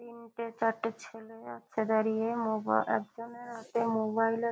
তিনটে চারটে ছেলে আছে দাঁড়িয়ে। মোবা একজনের হাতে মোবাইল আ --